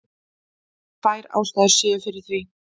Tvær ástæður séu fyrir því